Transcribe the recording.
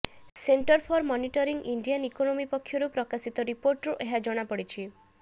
centre for monitoring Indian economy ପକ୍ଷରୁ ପ୍ରକାଶିତ ରିପୋର୍ଟରୁ ଏହା ଜଣାପଡ଼ିିଛି